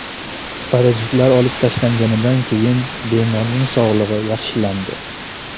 Parazitlar olib tashlanganidan keyin bemorning sog‘lig‘i yaxshilandi.